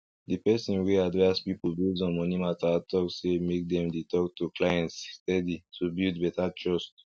di person wey advice people based on money mata talk say make dem dey talk to clients steady to build better trust